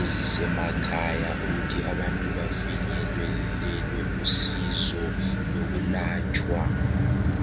ezisemakhaya ukuthi abantu bafinyelelwe lusizo lokulatshwa